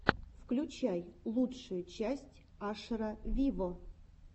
включай лучшую часть ашера виво